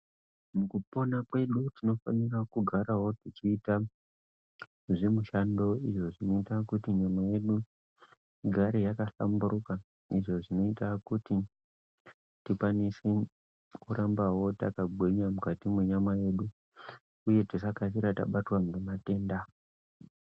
Mukupona kwedu tinofanira kugarawo tichiita zvemushando izvo zvinoita kuti nyama yedu igare yakahlamburuka. Izvo zvinoita kuti tikwanise kurambawo takagwinya mukati mwenyama yedu uye tisakasira tabatwa ngematenda.